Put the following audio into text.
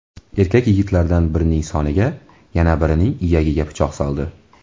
Erkak yigitlardan birining soniga, yana birining iyagiga pichoq soldi.